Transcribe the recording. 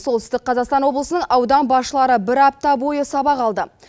солтүстік қазақстан облысының аудан басшылары бір апта бойы сабақ алды